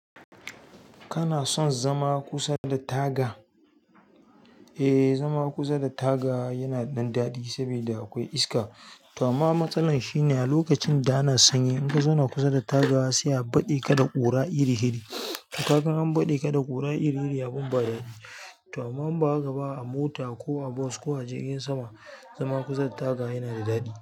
Kana son zama kusa da taga? Eh, zama kusa da taga yana da dan daɗi saboda akwai iska. To amma matsalar shine lokacin da ana sanyi, in ka zama kusa da taga sai a baɗe ka da ƙura iri-iri. To kaga an baɗe ka da ƙura iri-iri abin ba daɗi. To amma in ba haka ba a mota ko a bos ko a jirgin sama, zama kusa da taga yana da daɗi.